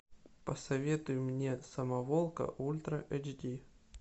посоветуй мне самоволка ультра эйч ди